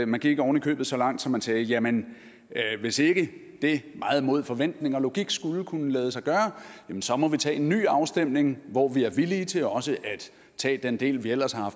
man gik oven i købet så langt at man sagde jamen hvis ikke det meget mod forventning og logik skulle kunne lade sig gøre må vi tage en ny afstemning hvor vi er villige til også at tage den del vi ellers har